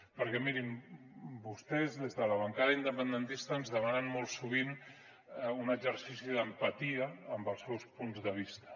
perquè mirin vostès des de la bancada independentista ens demanen molt sovint un exercici d’empatia amb els seus punts de vista